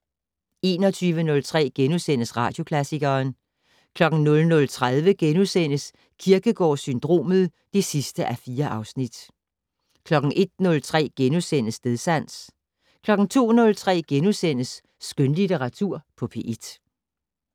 21:03: Radioklassikeren * 00:30: Kierkegaard-syndromet (4:4)* 01:03: Stedsans * 02:03: Skønlitteratur på P1 *